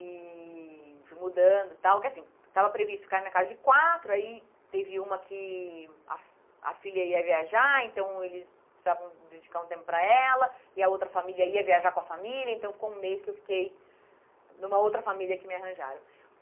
E fui mudando e tal, que assim, estava previsto ficar na casa de quatro, aí teve uma que a fi a filha ia viajar, então eles precisavam dedicar um tempo para ela, e a outra família ia viajar com a família, então ficou um mês que eu fiquei numa outra família que me arranjaram.